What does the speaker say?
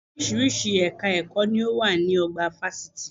Orísìírísìí ẹ̀ka ẹ̀kọ́ ni ó wà ní ọgbà fásitì